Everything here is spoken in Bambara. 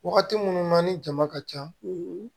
Wagati minnu na ni jama ka ca